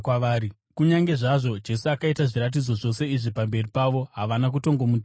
Kunyange zvazvo Jesu akaita zviratidzo zvose izvi pamberi pavo, havana kutongomutenda.